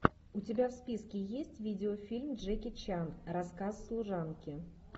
у тебя в списке есть видео фильм джеки чан рассказ служанки